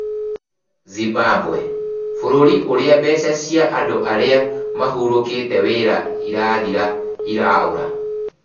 Zimbabwe: Bũrũri ũrĩa mbeca cia andũ arĩa mahurokire wĩra irathira iraũra